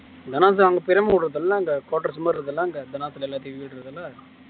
பெரியம்மா வீடு இருக்குல்ல அங்க குட்டோர்ஸ் மாறி இருக்குல்ல அங்க இந்தநேரத்துல